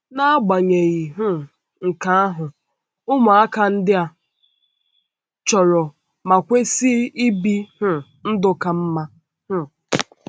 N’agbanyeghị um nke ahụ, ụmụaka ndị a chọrọ ma kwesị ibi um ndụ ka mma um.